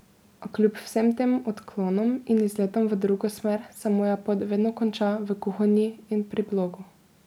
A kljub vsem tem odklonom in izletom v drugo smer se moja pot vedno konča v kuhinji in pri blogu.